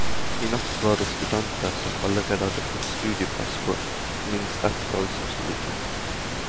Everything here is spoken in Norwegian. I natt var det studenter som allerede har fått studieplass på minst ett fag, som sto i kø.